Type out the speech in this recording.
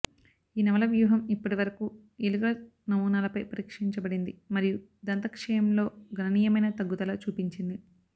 ఈ నవల వ్యూహం ఇప్పటివరకు ఎలుకల నమూనాలపై పరీక్షించబడింది మరియు దంత క్షయం లో గణనీయమైన తగ్గుదల చూపించింది